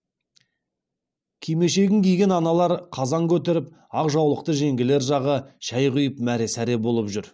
кимешегін киген аналар қазан көтеріп ақ жаулықты жеңгелер жағы шәй құйып мәре сәре болып жүр